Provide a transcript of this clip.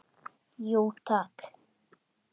Jú takk